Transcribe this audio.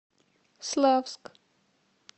славск